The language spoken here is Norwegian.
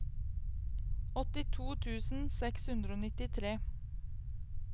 åttito tusen seks hundre og nittitre